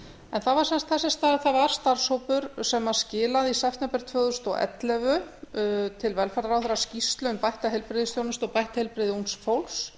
var sem sagt þessi að það var starfshópur sem skilaði í september tvö þúsund og ellefu til velferðarráðherra skýrslu um bætta heilbrigðisþjónustu og bætt heilbrigði ungs fólks